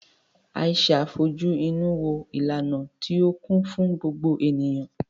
Aisha fojú inú wo ìlànà tí ó kún fún gbogbo ènìyàn.